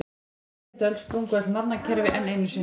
Á nítjándu öld sprungu öll nafnakerfi enn einu sinni.